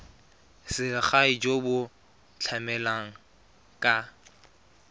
selegae jo bo tlamelang ka